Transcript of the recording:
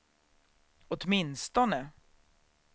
åtminstone